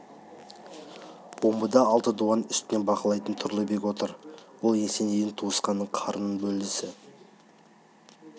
омбыда алты дуан үстінен бақылайтын тұрлыбек отыр ол есенейдің туысқаны қарын-бөлесі